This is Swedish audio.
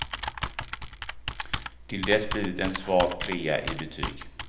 Tills dess blir det en svag trea i betyg.